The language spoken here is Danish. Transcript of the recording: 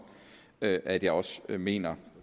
at at jeg også mener